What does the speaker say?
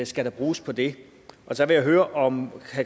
skal der bruges på det og så vil jeg høre om